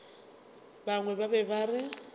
bangwe ba be ba re